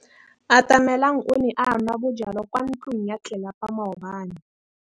Atamelang o ne a nwa bojwala kwa ntlong ya tlelapa maobane.